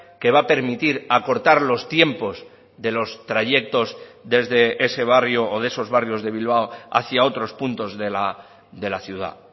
que va a permitir acortar los tiempos de los trayectos desde ese barrio o de esos barrios de bilbao hacia otros puntos de la ciudad